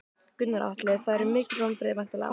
Gunnar Atli: Þetta eru mikil vonbrigði væntanlega?